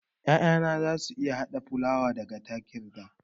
'Ya'yana za su iya hada fulawa daga takerda.